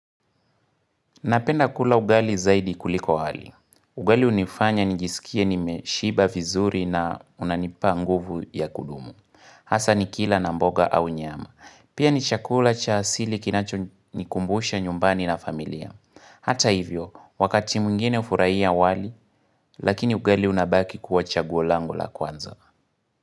Napenda kula ugali zaidi kuliko hali. Ugali hunifanya nijisikie nimeshiba vizuri na unanipa nguvu ya kudumu. Hasa nikila na mboga au nyama. Pia ni chakula cha asili kinacho nikumbusha nyumbani na familia. Hata hivyo, wakati mwingine hufurahia wali, lakini ugali unabaki kuwa chaguo langu la kwanza.